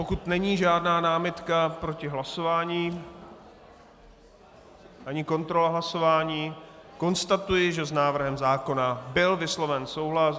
Pokud není žádná námitka proti hlasování ani kontrola hlasování, konstatuji, že s návrhem zákona byl vysloven souhlas.